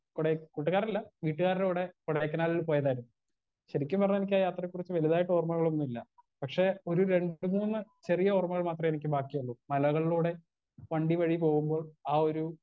Speaker 1 Kodai കൂട്ടുകാരല്ല വീട്ട്കാർടെ കൂടെ കൊടൈക്കനാലിൽ പോയതായിരുന്നു ശെരിക്കും പറഞ്ഞാ എനിക്കാ യാത്രയെ കുറിച്ച് വലുതായിട്ടോർമയൊന്നുല്ല പക്ഷെ ഒരു രണ്ട് മൂന്ന് ചെറിയ ഓർമ്മകൾ മാത്രേ എനിക്ക് ബാക്കിയുള്ളൂ മലകളിലൂടെ വണ്ടി വഴി പോകുമ്പോൾ ആ ഒരു.